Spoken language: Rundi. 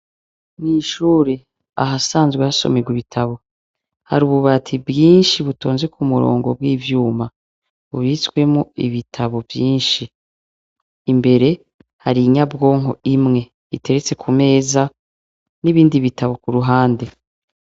Nishure ahasanzwe hashomirwa ibitabo hari ububati bwinshi butonze ku murongo bw'ivyuma bubitswemo ibitabo vyinshi imbere hari inyabwonko imwe iteretse ku meza n'ibindi bitabo ku ruhande.